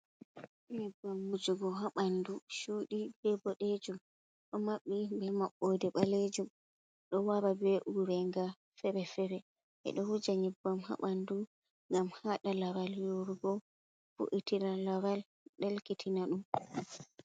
Nyebbam mujugo haa bandu chudi be bodejum, do maɓɓi be maɓɓode balejum, ɗo wara be urenga feere-feere. Ɓe ɗo huja nyebbam haa bandu ngam haɗa laral yoorugo vo’itina laral, ɗelki tina ɗum.